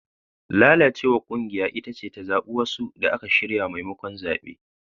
Lalacewar kungiya ita ce ta zabi wasu da aka shirya maimakon zabe.